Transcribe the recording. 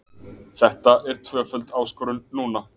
Þetta er tvöföld áskorun núna.